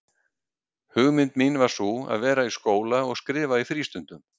Hugmynd mín var sú, að vera í skóla og skrifa í frístundum.